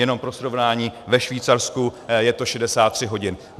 Jenom pro srovnání, ve Švýcarsku je to 63 hodin.